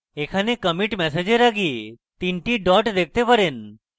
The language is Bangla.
এখানে commit message এর আগে তিনটি dots দেখতে পারেন